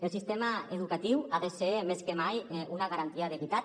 el sistema educatiu ha de ser més que mai una garantia d’equitat